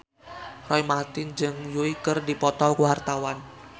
Roy Marten jeung Yui keur dipoto ku wartawan